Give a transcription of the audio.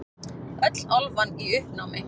Öll álfan í uppnámi.